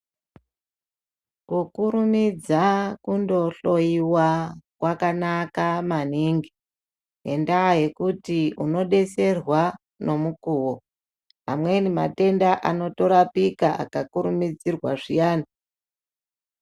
Kukurumidza kundo hloyiwa kwakanaka maningi, nendaa yekuti uno detserwa nemukuwo. Amweni matenda ano torapika aka kurumidzirwa zviani.